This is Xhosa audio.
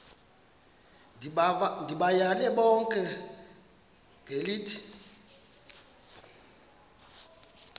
ndibayale bonke ngelithi